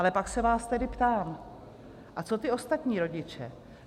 Ale pak se vás tedy ptám, a co ti ostatní rodiče?